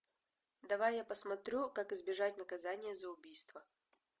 давай я посмотрю как избежать наказания за убийство